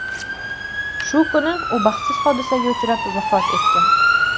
Shu kuni u baxtsiz hodisaga uchrab, vafot etgan.